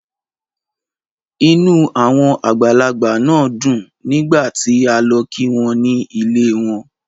Inú àwọn àgbàlagbà náà dùn nígbà tí a lọ kí wọn ní ilée won.